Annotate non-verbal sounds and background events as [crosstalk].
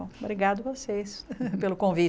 Obrigada a vocês [laughs] pelo convite.